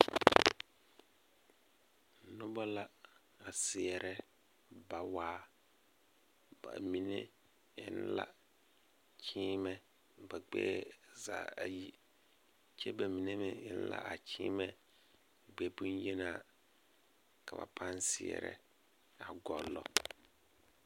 Noba la a seɛrɛ bawaa ba mine eŋ la kyeemɛ ba gbɛɛ zaa ayi kyɛ ba mine meŋ beŋ la kyeemɛ gbɛ boŋyenaa ka ba pãã seɛrɛ a guli.